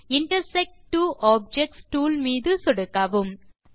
intersect two objects tool மீது சொடுக்கவும்